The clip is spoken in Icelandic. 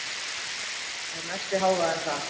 Það er mesti hávaðinn þar.